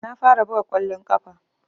Na fara buga kwallon kafa